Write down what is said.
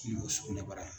N'o ye sugunɛbara ye